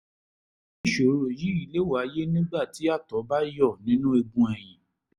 irú ìṣòro yìí lè wáyé nígbà tí àtọ̀ bá yọ nínú eegun ẹ̀yìn